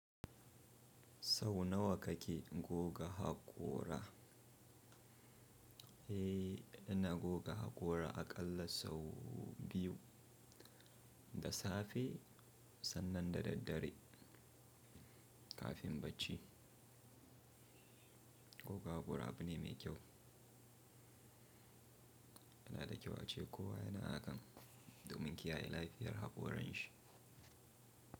Sau nawa kake goga haƙora? Eh, ina goga haƙora aƙalla sau biyu, da safe sannan da daddare kafin bacci. Goga haƙora abune mai kyau. Ina da kyau ace kowa yana akan domin kiyaye lafiyar haƙoranshi.